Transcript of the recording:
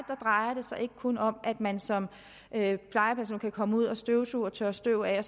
drejer det sig ikke kun om at man som plejeperson kan komme ud og støvsuge og tørre støv af